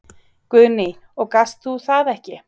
Guðný: Og gast þú það ekki?